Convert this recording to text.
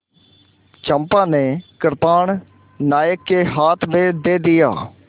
चंपा ने कृपाण नायक के हाथ में दे दिया